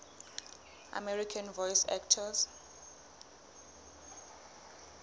american voice actors